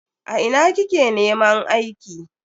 A ina kike neman aiki?